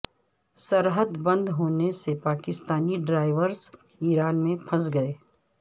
سرحد بند ہونے سے پاکستانی ڈرائیورز ایران میں پھنس گئے